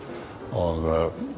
og